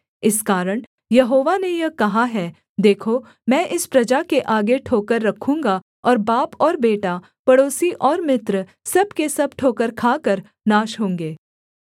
इस कारण यहोवा ने यह कहा है देखो मैं इस प्रजा के आगे ठोकर रखूँगा और बाप और बेटा पड़ोसी और मित्र सब के सब ठोकर खाकर नाश होंगे